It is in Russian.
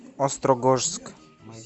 острогожск